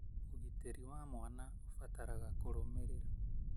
ũgitĩri wa mwana ũbataraga kũrũmĩrĩra